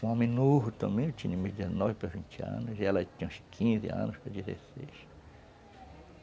Um homem novo também, eu tinha de dezenove para vinte anos, e ela tinha uns quinze anos para dezesseis.